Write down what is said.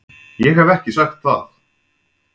Ég hef ekki sagt það!